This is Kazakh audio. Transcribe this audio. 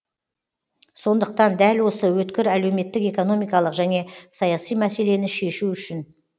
сондықтан дәл осы өткір әлеуметтік экономикалық және саяси мәселені шешу үшін